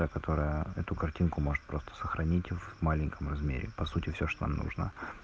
та которая эту картинку может просто сохранить в маленьком размере по сути всё что нужно